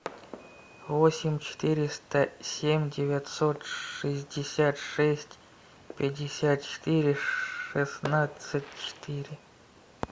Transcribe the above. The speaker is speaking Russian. восемь четыреста семь девятьсот шестьдесят шесть пятьдесят четыре шестнадцать четыре